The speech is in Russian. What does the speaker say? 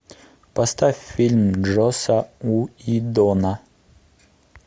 поставь фильм джоса уиддона